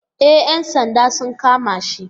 E ‘yan sanda sun kama shi.